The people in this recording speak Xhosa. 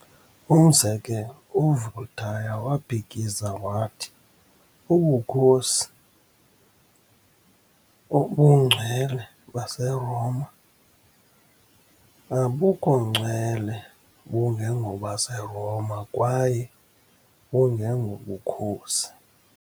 Umzekelo, uVoltaire waphikisa wathi " ubukhosi obungcwele baseRoma, abukhongcwele bungengobaseRoma, kwaye bungengobukhosi".